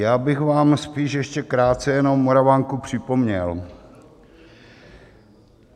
Já bych vám spíš ještě krátce jenom Moravanku připomněl.